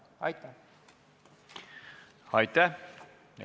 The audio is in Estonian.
Aitäh!